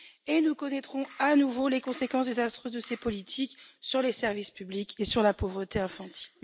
et nous connaîtrons à nouveau les conséquences désastreuses de ces politiques sur les services publics et la pauvreté infantile.